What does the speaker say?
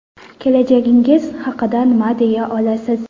Kelajagingiz haqida nima deya olasiz?